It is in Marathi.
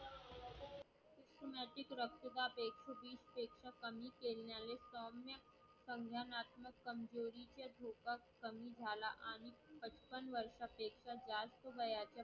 कमी केल्याने संध्याकाळी कमजुरीचा धोका कमी झाला आहे. पटकन वर्षात जास्त काही आहे